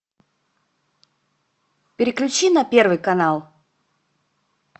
переключи на первый канал